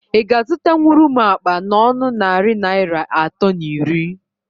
Ị ga azụtanwuru m akpa n'ọnọ narị Naịra atọ na iri?